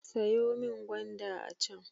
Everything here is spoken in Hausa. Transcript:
Sayo min gwanda a can.